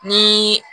Ni